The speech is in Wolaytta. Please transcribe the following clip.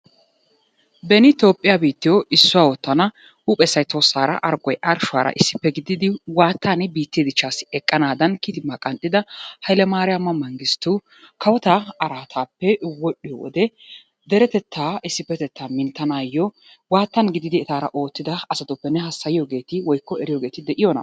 Beni tophphiya biittiyo issuwa oottana huuphessay tohossaara, aggoy arshshuwaara issippe gididi waattan biittee dichchaassi eqqanaadan kitimaa qanxxida hayilemariyama mengistu kawotaa araataappe wodhdhiyo wode deretettaa issippetettaa minttanaayyo waattan gididi etaara oottida asatuppe ne hassayiyogeeti woyikko eriyogeeti de'iyona?